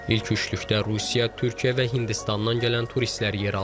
İlk üçlükdə Rusiya, Türkiyə və Hindistandan gələn turistlər yer alır.